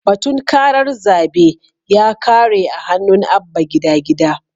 Batun karar zabe ya kare a hannun Abba Gida Gida.